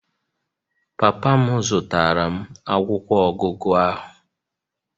Papa m zụtara m akwụkwọ ọgụgụ ahụ